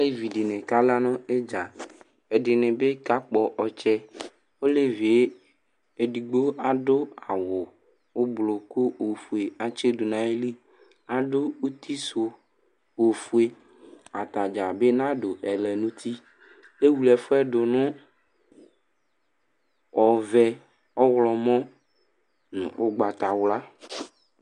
Alevi dɩnɩ kala nʋ ɩdza Ɛdɩnɩ bɩ kakpɔ ɔtsɛ Olevi yɛ, edigbo adʋ awʋ ʋblo kʋ ofue atsɩ dʋ nʋ ayili Adʋ uti sʋ ofue Ata dza bɩ nadʋ ɛlɛnʋti Ewle ɛfʋ yɛ dʋ nʋ ɔvɛ, ɔɣlɔ nʋ ʋgabatawla